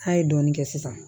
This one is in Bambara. An ye dɔɔnin kɛ sisan